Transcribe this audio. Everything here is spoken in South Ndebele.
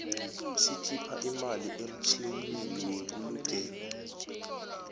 sikhipha imali emtjhlinini webulugelo